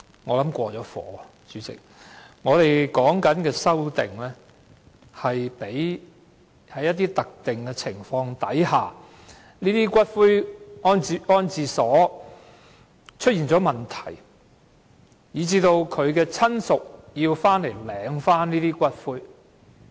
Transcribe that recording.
我們提出的修正案旨在處理一些特定情況，即因這些骨灰安置所出現問題而令死者親屬要回來領回骨灰的情況。